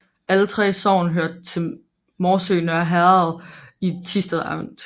Alle 3 sogne hørte til Morsø Nørre Herred i Thisted Amt